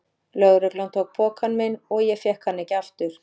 Lögreglan tók pokann minn og ég fékk hann ekki aftur.